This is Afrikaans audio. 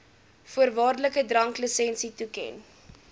voorwaardelike dranklisensie toeken